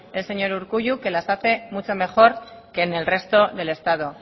el señor urkullu las hace mucho mejor que en el resto del estado